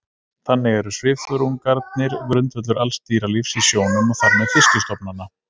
þannig eru svifþörungarnir grundvöllur alls dýralífs í sjónum og þar með fiskistofnanna